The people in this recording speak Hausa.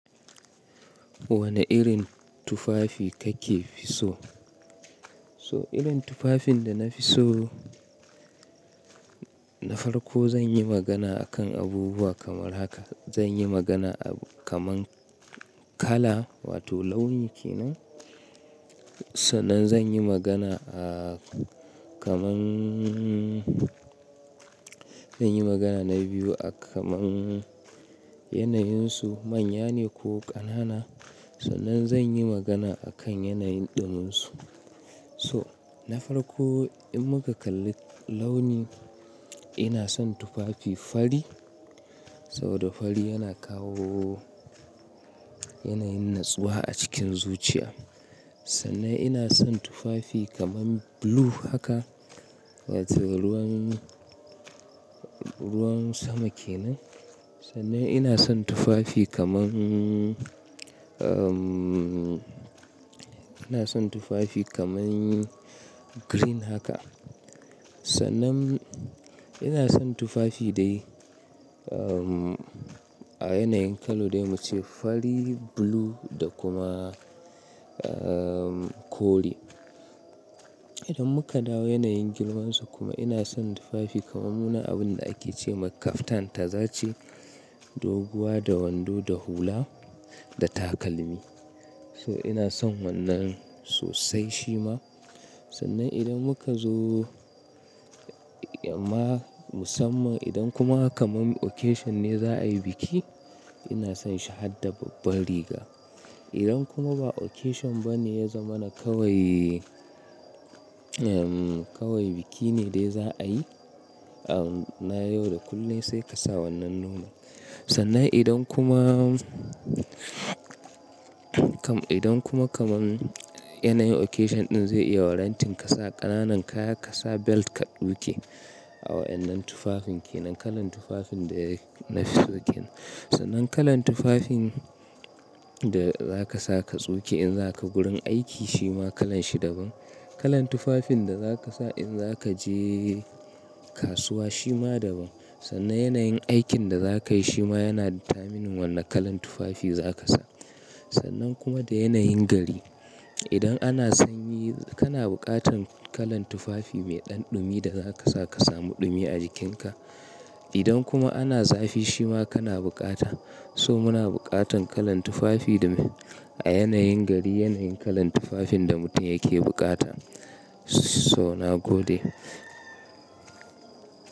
Wane irin tufafi kake fi so? So irin tufafin da na fi so, na farko zan yi magana akan abubuwa kamar haka. Zan yi magana kamar kala wato launi kenan. Sannan zan yi magana a kamar zan yi magana na biyu a kamar yanayunsu manya ne ko ƙanana. Sannan zan yi magana akan yanayin ɗumunsu. So na farko in muka kalli launi, ina son tufafi fari saboda fari yana kawo yanayin natsuwa a cikin zuciya. Sannan ina son tufafi kamar blue haka wato ruwan, ruwan sama kenan. Sannan ina son tufafi kamar, umm, ina son tufafi kamar green haka. Sannan ina son tufafi dai a yanayin kalo dai mu ce fari, blue da kuma, umm, kore. Idan muka dawo yanayin girman su kuma ina son tufafi kamar muna abun da ake ce ma kaftan tazace doguwa da wando da hula da takalmi. So ina son wannan sosai shi ma. Sannan idan muka zo ma musamman idan kuma kamar occasion ne za a yi biki ina son shi har da babbar riga. Idan kuma ba occasion ba ne ya zama na kawai, umm, kawai biki ne dai za a yi, na yau da kullum sai ka sa wannan nomal. Sannan idan kuma, idan kuma kamar yanayin occasion ɗin zai iya warranting ka sa ƙananan kaya, ka sa belt ka tsuke a wa'innan tufafin kenan, kalan tufafin da na fi so kenan. Sannan kalan tufafin da za ka sa ka tsoke in za ka gurin aiki shi ma kalan shi daban. Kalan tufafin da za ka sa in za ka je kasuwa shi ma daban. Sannan yanayin aikin da za ka yi shi ma yana determining wane kalan tufafi za ka sa. Sannan kuma da yanayin gari. Idan ana sanyi kana buƙatan kalan tufafi mai ɗan ɗumi da za ka sa ka samu ɗumi a jikinka. Idan kuma ana zafi shi ma kana buƙata. So muna buƙatan kalan tufafi a yanayin gari, yanayin kalan tufafin da mutum yake buƙata. So na gode.